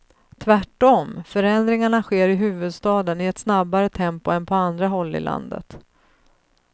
Tvärtom, förändringarna sker i huvudstaden i ett snabbare tempo än på andra håll i landet.